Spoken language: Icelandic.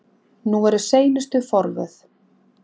Nú eru seinustu forvöð.